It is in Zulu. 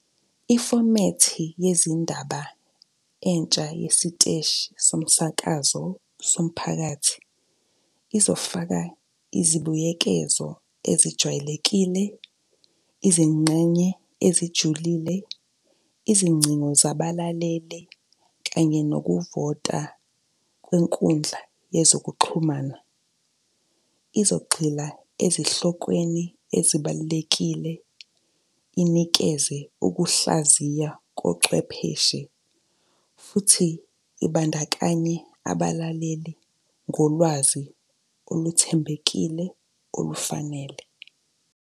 Ifomethi yezindaba entsha yesiteshi somsakazo somphakathi, izofaka izibuyekezo ezijwayelekile, izingxenye ezijulile, izingcingo zabalaleli, kanye nokuvota kwenkundla yezokuxhumana. Izogxila ezihlokweni ezibalulekile, inikeze ukuhlaziya kocwepheshe, futhi ibandakanye abalaleli ngolwazi oluthembekile olufanele.